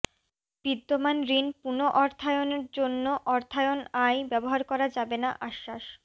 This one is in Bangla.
বিদ্যমান ঋণ পুনঃঅর্থায়ন জন্য অর্থায়ন আয় ব্যবহার করা যাবে না আশ্বাস